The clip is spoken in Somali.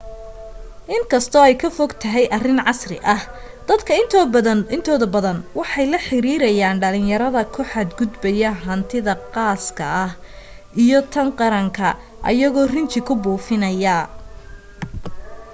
in kasto ay ka fogtahay arin casri ah dadka intooda badan waxa ay la xiriiriyan dhalinyarada ku xad gudbaya hantida qaaska iyo tan qaranka ayagoo rinji ku buufinaya